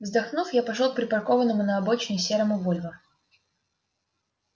вздохнув я пошёл к припаркованному к обочине серому вольво